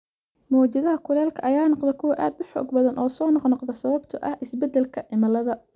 Mowjadaha kulaylka ayaa noqda kuwa aad u xoog badan oo soo noqnoqda sababtoo ah isbeddelka cimilada.